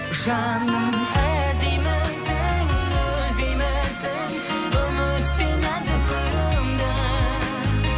жаным іздеймісің үзбеймісің үміттей нәзік гүліңді